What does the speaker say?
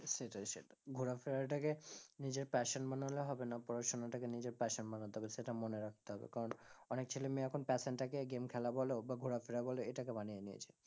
সেটাই সেটাই ঘোরাফেরা টাকে নিজের passion বানালে হবে না পড়াশোনাটাকে নিজের passion বানাতে হবে, সেটা মনে রাখতে হবে কারণ অনেক ছেলে মেয়ে এখন passion টা কে game খেলা বলো বা ঘোরাফেরা বলো এটাকে বানিয়ে নিয়েছে,